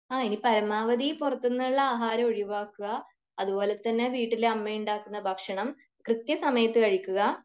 ആ ഇനി പരമാവധി പുറത്തുനിന്നുമുള്ള ആഹാരം ഒഴിവാക്കുക. അതുപോലെ തന്നെ വീട്ടിൽ അമ്മയുണ്ടാക്കുന്ന ഭക്ഷണം കൃത്യ സമയത്തു കഴിക്കുക.